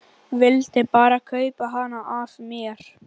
Vildi bara kaupa hana af mér!